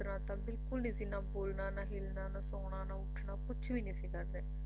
ਬਿਲਕੁਲ ਨਹੀਂ ਸੀ ਨਾ ਬੋਲਣਾ ਨਾ ਹਿੱਲਣਾ ਨਾ ਸੌਣਾ ਨਾ ਉੱਠਣਾ ਕੁਛ ਵੀ ਨਹੀਂ ਸੀ ਕਰਦੇ